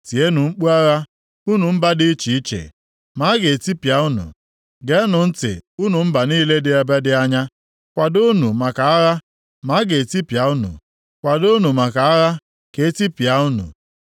Tienụ mkpu agha unu mba dị iche iche, ma a ga-etipịa unu. Geenụ ntị unu mba niile dị ebe dị anya. Kwadoonụ maka agha ma a ga-etipịa unu. Kwadoonụ maka agha ka e tipịa unu.